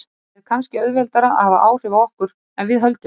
En er kannski auðveldara að hafa áhrif á okkur en við höldum?